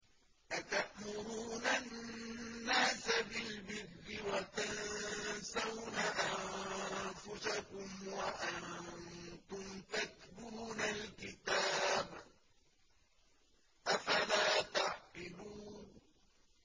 ۞ أَتَأْمُرُونَ النَّاسَ بِالْبِرِّ وَتَنسَوْنَ أَنفُسَكُمْ وَأَنتُمْ تَتْلُونَ الْكِتَابَ ۚ أَفَلَا تَعْقِلُونَ